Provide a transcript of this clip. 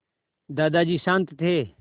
दादाजी शान्त थे